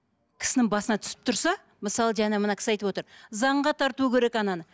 кісінің басына түсіп тұрса мысалы жаңа мына кісі айтып отыр заңға тарту керек ананы